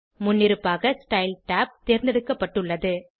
முன்னிருப்பாக style tab தேர்ந்தெடுக்கப்பட்டுள்ளது